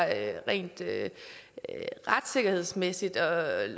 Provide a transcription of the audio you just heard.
at det retssikkerhedsmæssigt er